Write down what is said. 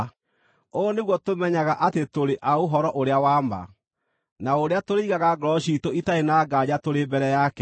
Ũũ nĩguo tũmenyaga atĩ tũrĩ a ũhoro ũrĩa wa ma, na ũrĩa tũrĩigaga ngoro ciitũ itarĩ na nganja tũrĩ mbere yake,